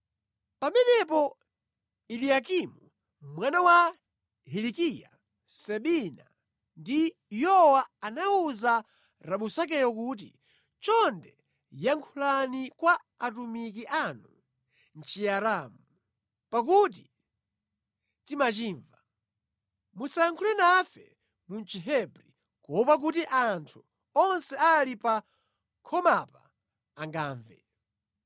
Pamenepo Eliyakimu mwana wa Hilikiya, Sebina ndi Yowa anawuza Rabusakeyo kuti, “Chonde yankhulani kwa atumiki anufe mʼChiaramu, popeza timachimva. Musayankhule nafe mu Chihebri kuopa kuti anthu onse amene ali pa khomapa angamve.”